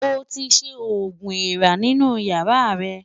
Ó ti ṣẹ́ oogun èèrà nínú ìyàrá rẹ̀.